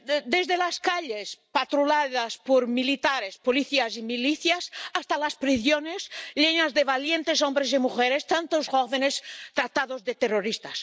Desde las calles, patrulladas por militares, policías y milicias, hasta las prisiones, filas de valientes hombres y mujeres, tantos jóvenes, tratados de terroristas.